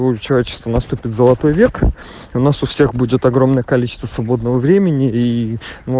отчество наступит золотой век у нас у всех будет огромное количество свободного времени и